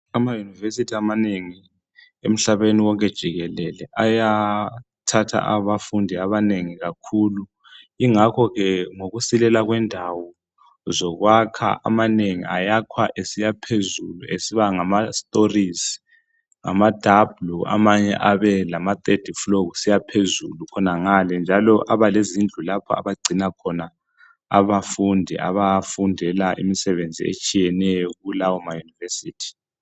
Amayunivesithi amanengi emhlabeni wonke jikelele ayathatha abafundi abanengi kakhulu. Ingakho ke ngokusilela kwendawo zokwakha amanengi ayakhwa esiya phezulu esiba ngama storizi ngama dabhulu amanye abelama third fulo kusiya phezulu khonangale njalo aba lezindlu lapha abagcina khona abafundi abafundela imisebenzi etshiyeneyo kulawo maYunivesithi